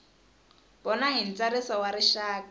vona hi ntsariso wa rixaka